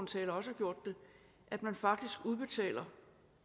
taler også har gjort det at man faktisk